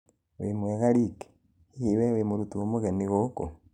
wĩmwega Rick, hihi we wĩ mũrutwo mũgeni gũkũ?